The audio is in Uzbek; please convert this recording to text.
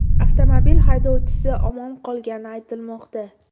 Avtomobil haydovchisi omon qolgani aytilmoqda.